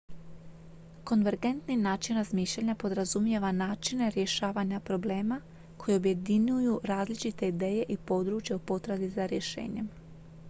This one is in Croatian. konvergentni način razmišljanja podrazumijeva načine rješavanja problema koji objedinjuju različite ideje i područja u potrazi za rješenjem